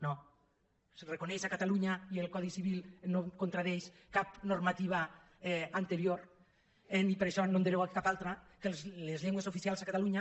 no se reconeix a catalunya i el codi civil no contradiu cap normativa anterior i per això no n’hem derogat cap altra que les llengües oficials a catalunya